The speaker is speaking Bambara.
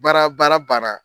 Baara baara baara banna